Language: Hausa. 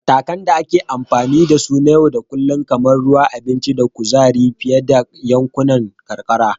Matakan da ake amfani da su na yau da kullun kamar ruwa, abinci, da kuzari fiye da yankunan karkara;